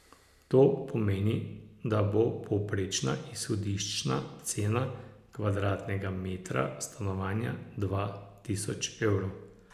To pomeni, da bo povprečna izhodiščna cena kvadratnega metra stanovanja dva tisoč evrov.